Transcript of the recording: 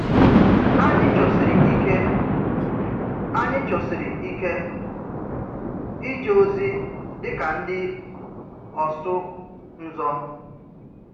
Ányị̀ chọ́sírì íké Ányị̀ chọ́sírì íké íjé òzì dị ka ndị́ ọ̀sụ̀ ǹzọ̀.